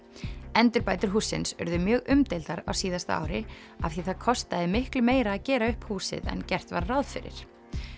endurbætur hússins urðu mjög umdeildar á síðasta ári af því það kostaði miklu meira að gera upp húsið en gert var ráð fyrir